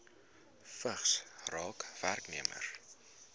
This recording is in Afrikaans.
vigs raak werknemers